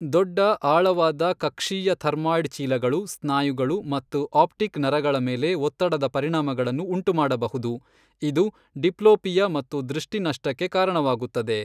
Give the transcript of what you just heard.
ದೊಡ್ಡ ಆಳವಾದ ಕಕ್ಷೀಯ ಡರ್ಮಾಯ್ಡ್ ಚೀಲಗಳು ಸ್ನಾಯುಗಳು ಮತ್ತು ಆಪ್ಟಿಕ್ ನರಗಳ ಮೇಲೆ ಒತ್ತಡದ ಪರಿಣಾಮಗಳನ್ನು ಉಂಟುಮಾಡಬಹುದು, ಇದು ಡಿಪ್ಲೋಪಿಯಾ ಮತ್ತು ದೃಷ್ಟಿ ನಷ್ಟಕ್ಕೆ ಕಾರಣವಾಗುತ್ತದೆ.